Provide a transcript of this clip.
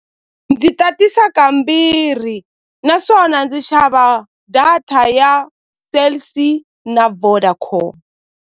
Ndzi tatisa kambirhi naswona ndzi xava data ya Cell C na Vodacom.